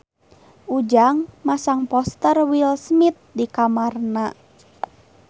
Ujang masang poster Will Smith di kamarna